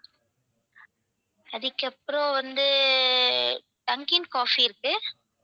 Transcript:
அதுக்கபுறம் வந்து dunkin coffee இருக்கு.